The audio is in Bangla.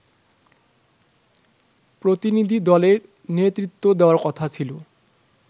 প্রতিনিধিদলের নেতৃত্ব দেওয়ার কথা ছিল